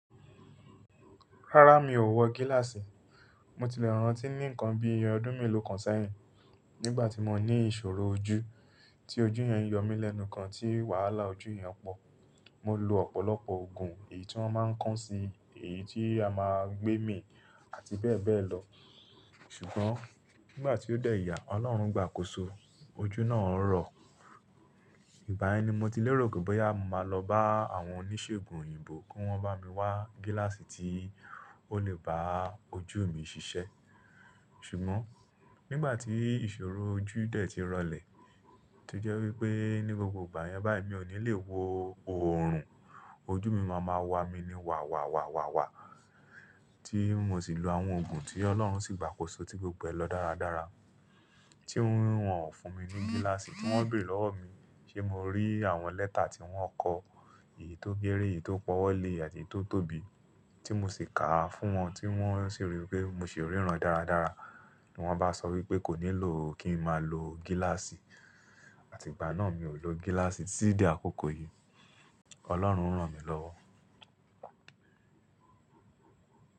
Rárá mi ò wọ gíláàsì. Mo ti le rántí ni ìkan bi ọdún melo kan sẹyìn nígbàtí mo ni ìṣòro ojú, ti ojú yen yo mi lẹnu gán ti wàhálà ojú yen po. Mo lo ọ̀pọ̀lọpọ̀ òògùn èyí tí wọ́n máa ń kán sí i, èyí tí a máa ń gbé mì àti bẹ́ẹ̀ bẹ́ẹ̀ lọ. Ṣùgbọ́n nígbà tí ó dẹ̀ ya, Ọlọ́run gbà kóso ojú náà rọ̀. Ìgbàyen ni mo ti lè rò pé boya mo máa lọ bá àwọn oníṣègùn òyìnbó kí wọ́n bá mi wá gíláàsì tí ó lè bá ojú mi ṣiṣẹ́. Ṣùgbọ́n nígbà tí ìṣòro ojú dẹ̀ ti rọlẹ̀, to jẹ́ wí pé ní gbogbo ìgbà yẹn báyìí mi ò ní lè wo oòrùn, ojú mi máa ma wà mí ní wà wà wà wà wà tí mo sì lo àwọn òògùn tí Ọlọ́run sì gbàkóso tí gbogbo ẹ̀ lọ dáradára. Tí wọ́n ò fún mi ní gíláàsì, tí wọ́n béèrè lọ́wọ́ mi ṣé mo rí àwọn lẹ́tà tí wọ́n kọ, èyí tó kére, èyí tó pọ́wọ́ lé àti èyí to tóbi tí mo sì kàá fún wọn tí wọ́n sì rí i pé mo sì ríran dáradára. Wọ́n bá sọ wí pé kò nílò kí n máa lo gíláàsì àti ìgbà náà mi ò lo gíláàsì títí di àkókò yìí. Ọlọ́run rán mi lọ́wọ́.